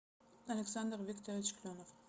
александр викторович кленов